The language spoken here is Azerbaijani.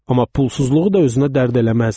Amma pulsuzluğu da özünə dərd eləməzdi.